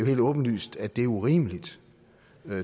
helt åbenlyst at det er urimeligt